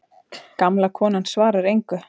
Gamla konan svarar engu.